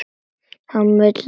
Hann vill, að okkur semji.